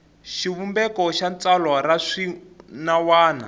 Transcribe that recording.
xivumbeko xa tsalwa ra swinawana